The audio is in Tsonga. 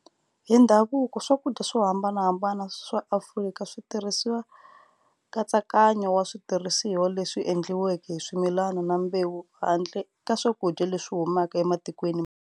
Hi ndhavuko, swakudya swohambanahambana swa Afrika switirhisa nkatsakanyo wa switirhisiwa leswi endliweke hi swimilani na mbewu handle ka swakudya leswi humaka ematikweni.